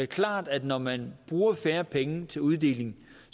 klart at når man bruger færre penge til uddeling